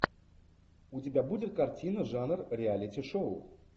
у тебя будет картина жанр реалити шоу